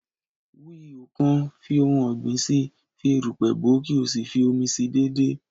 Wú ihò kan, fi ohun ọ̀gbìn si, fi erùpẹ̀ bòó, kí o sì fi omi si déédéé